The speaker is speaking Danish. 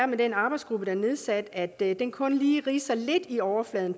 med den arbejdsgruppe der er nedsat er at den kun lige ridser lidt i overfladen